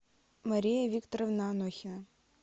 мария викторовна анохина